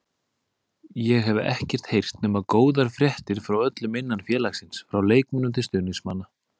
Ég hef ekkert heyrt nema góðar fréttir frá öllum innan félagsins, frá leikmönnum til stuðningsmanna.